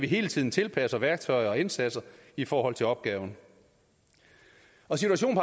hele tiden tilpasser værktøjer og indsatser i forhold til opgaven situationen